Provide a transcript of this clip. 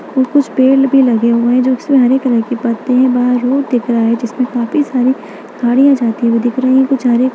और कुछ पेड़ भी लगे हुए हैं जो की हरे कलर की पत्ते हैं| बाहर रोड दिख रहा है जिसमे काफी सारी गाड़ियाँ जाती हुई दिख रहीं हैं| कुछ हरे --